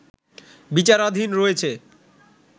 বিচারাধীন রয়েছে